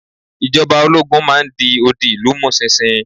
Ìjọba ológun máa n di odi ìlú mu sinsin